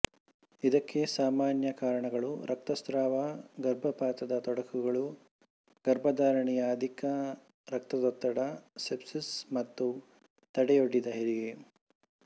ಇದಕ್ಕೆ ಸಾಮಾನ್ಯ ಕಾರಣಗಳು ರಕ್ತಸ್ರಾವ ಗರ್ಭಪಾತದ ತೊಡಕುಗಳು ಗರ್ಭಧಾರಣೆಯ ಅಧಿಕ ರಕ್ತದೊತ್ತಡ ಸೆಪ್ಸಿಸ್ ಮತ್ತು ತಡೆಯೊಡ್ಡಿದ ಹೆರಿಗೆ